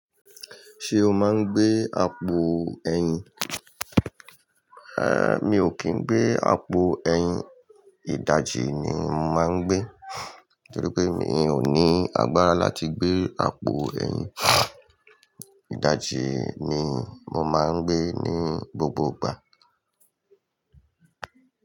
Ṣé o máa ń gbé àpò ẹ̀yìn? Èé, mi ò kì n gbé àpò ẹ̀yìn, ìdajì ni máa ń gbé. Torí pé mi ò ní agbára láti gbé àpò ẹ̀yìn. Ìdajì ni mo máa ń gbé ní gbogbo ìgbà.